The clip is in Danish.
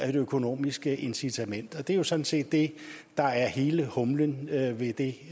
økonomisk incitament der det er jo sådan set det der er hele humlen i det